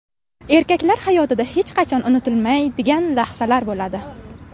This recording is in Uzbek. Erkaklar hayotida hech qachon unutilmaydigan lahzalar bo‘ladi.